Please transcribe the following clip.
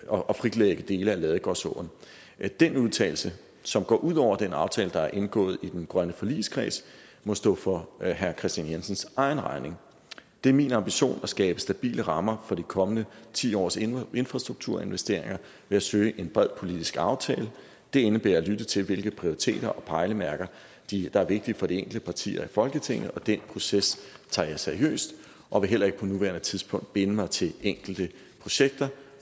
og fritlægge dele af ladegårdsåen den udtalelse som går ud over den aftale der er indgået i den grønne forligskreds må stå for herre kristian jensens egen regning det er min ambition at skabe stabile rammer for de kommende ti års infrastrukturinvesteringer ved at søge en bred politisk aftale det indebærer at lytte til hvilke prioriteter og pejlemærker der er vigtige for de enkelte partier i folketinget og den proces tager jeg seriøst og vil heller ikke på nuværende tidspunkt binde mig til enkelte projekter